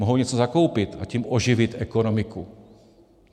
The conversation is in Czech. Mohou něco zakoupit, a tím oživit ekonomiku.